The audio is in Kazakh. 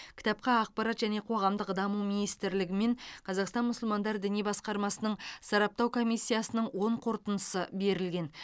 кітапқа ақпарат және қоғамдық даму министрлігі мен қазақстан мұсылмандар діни басқармасының сараптау комиссиясының оң қорытындысы берілген